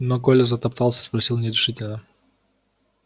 но коля затоптался спросил нерешительно